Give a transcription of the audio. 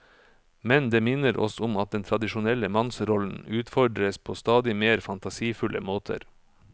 Men det minner oss om at den tradisjonelle mannsrollen utfordres på stadig mer fantasifulle måter.